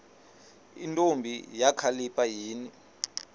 ntombi kakhalipha yini